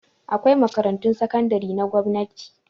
Akwai makarantun sakandare na gwamnati